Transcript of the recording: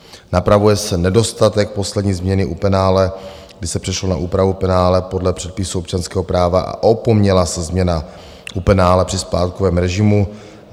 Napravuje se nedostatek poslední změny u penále, kdy se přešlo na úpravu penále podle předpisů občanského práva a opomněla se změna u penále při splátkovém režimu.